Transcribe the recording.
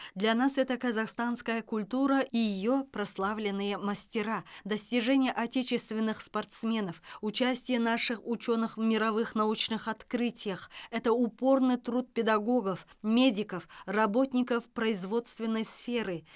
для нас это казахстанская культура и ее прославленные мастера достижения отечественных спортсменов участие наших ученых в мировых научных открытиях это упорный труд педагогов медиков работников производственной сферы